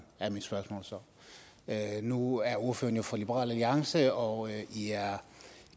er nu er ordføreren jo fra liberal alliance og i er